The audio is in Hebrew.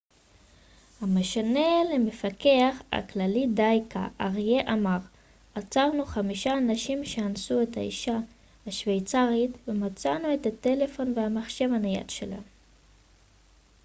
המשנה למפקח הכללי ד' ק' ארייה אמר עצרנו חמישה אנשים שאנסו את האישה השווייצרית ומצאנו את הטלפון והמחשב הנייד שלה